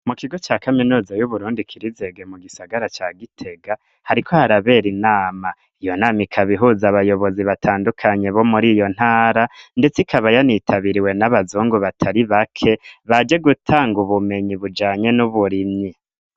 Mu kigo ca kaminuza y'Uburundi kiri i Zege mu gisagara ca gitega, hariko harabera inama. Iyo nama ikaba ihuza abayobozi batandukanye bo mur'iyo ntara, ndetse ikaba yanitabiriwe n'abazungu batari bake, baje gutanga ubumenyi bujanye n'uburimyi.